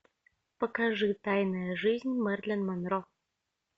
покажи тайная жизнь мэрилин монро